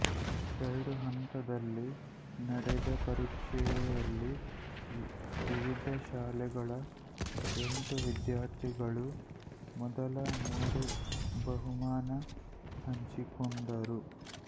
ಎರಡು ಹಂತದಲ್ಲಿ ನಡೆದ ಪರೀಕ್ಷೆಯಲ್ಲಿ ವಿವಿಧ ಶಾಲೆಗಳ ಎಂಟು ವಿದ್ಯಾರ್ಥಿಗಳು ಮೊದಲ ಮೂರು ಬಹುಮಾನ ಹಂಚಿಕೊಂಡರು